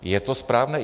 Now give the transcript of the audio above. Je to správné?